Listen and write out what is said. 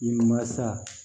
I masa